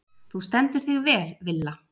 Þú stendur þig vel, Villa!